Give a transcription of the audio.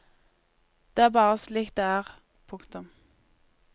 Det er bare slik det er. punktum